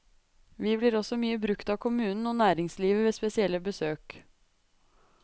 Vi blir også mye brukt av kommunen og næringslivet ved spesielle besøk.